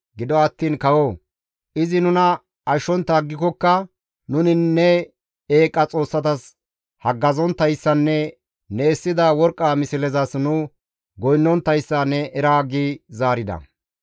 Gido attiin kawoo! Izi nuna ashshontta aggikokka nuni ne eeqa xoossatas haggazonttayssanne ne essida worqqa mislezas nu goynnonttayssa ne era» gi zaarida.